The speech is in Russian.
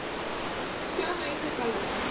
все о моих заказах